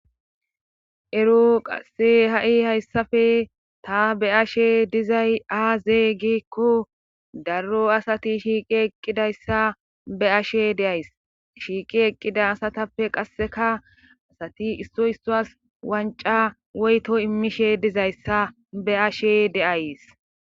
Ero qasse ha7i hayssafe ta be7ashe dizay aaze giiko darro asati shiiqi eqqidayssa be7ashe days shiiqi eqqida asatappe qasseka issuwas wancca woyto immishe dizayssa be7ashe de7ays.